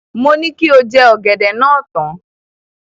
Mo ní kí o jẹ ọ̀gẹ̀dẹ̀ náà tán.